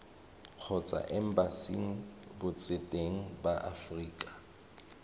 kgotsa embasing botseteng ba aforika